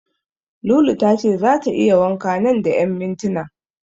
Lulu tace zata yi wanka nan da ƴan mintinan.